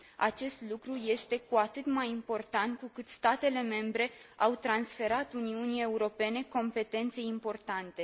Acest lucru este cu atât mai important cu cât statele membre au transferat Uniunii Europene competențe importante.